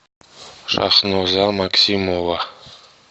шахноза максимова